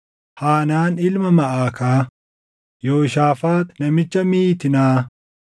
Haanaan ilma Maʼakaa, Yooshaafaaxi namicha Miitinaa,